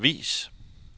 vis